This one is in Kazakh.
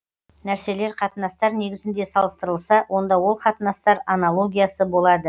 нәрселер қатынастар негізінде салыстырылса онда ол қатынастар анологиясы болады